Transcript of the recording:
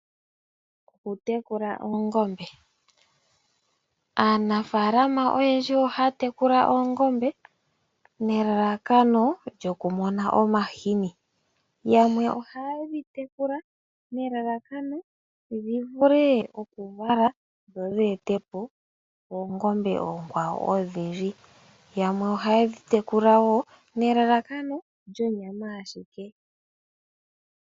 Okutekula oongombe. Aanafaalama oyendji ohaya tekula oongombe nelalakano lyokumona omahini . Yamwe ohaye dhi tekula nelalakano dhivule okuvala dho dheetepo oongombe oonkwawo . Yamwe ohaye dhi tekula wo nelalakano lyonyama ashike.